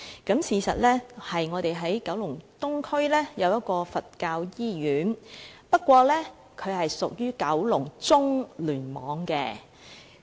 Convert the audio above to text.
事實上，雖然該中心位於九龍東的香港佛教醫院內，但該醫院是屬於九龍中聯網的。